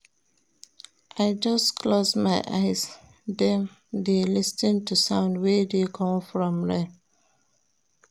I just close my eye dem, dey lis ten to sound wey dey come from rain.